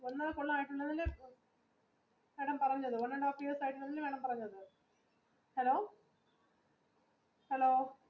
hello hello